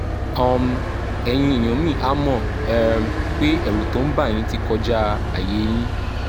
um ẹ̀yin èèyàn mi a mọ̀ um pé ẹ̀rù tó ń bà yín ti kọjá àyè yín